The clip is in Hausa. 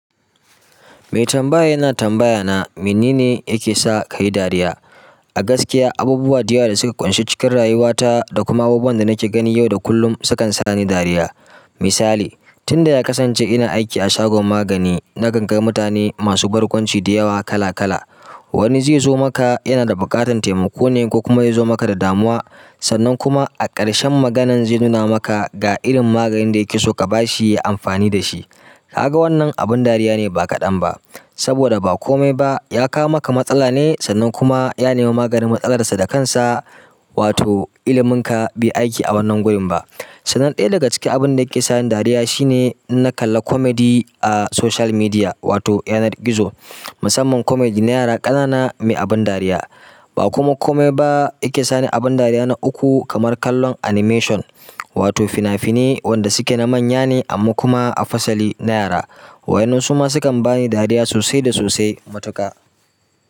Mai tambaya yana tambaya na, me nene yake sa ka yi dariya? A gaskiya, abubuwa da yawa da suka ƙunshi cikin rayuwata da kuma abubuwan da nake gani yau da kullum sukan sa ni dariya. Misali, tun da ya kasance ina aiki a shagon magani na gangar mutane masu barkwanci da yawa kala kala. Wani zai zo maka yana da buƙatar taimako ne ko kuma ya zo maka da damuwa. Sannan kuma a ƙarshen maganar zai nuna maka ga irin maganin da yake so ka ba shi amfani da shi ka ga wannan abin dariya ne ba kaɗan ba, saboda ba kome ba ya kawo maka matsala ne sannan kuma ya nemi maganin matsalar sa da kansa, wato ilimin ka bai aiki a wannan gurin ba. Sannan ɗaya daga cikin abin da yake sa ni dariya shine in na kalla comedy a social media wato yanar gizo. Musamman comedy na yara ƙanana mai abin dariya. Ba kuma komai ba yake sa ni abin dariya na uku kamar kallon animation wato fina-finai wanda suke na manya ne amma kuma a fasali na yara. Waɗannan su ma sukan ba ni dariya sosai da sosai matuƙa.